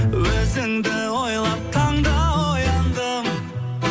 өзіңді ойлап таңда ояндым